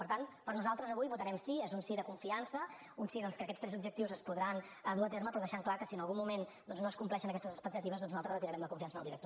per tant nosaltres avui votarem sí es un sí de confiança un sí doncs que aquests tres objectius es podran dur a terme però deixant clar que si en algun moment doncs no es compleixen aquestes expectatives nosaltres retirarem la confiança en el director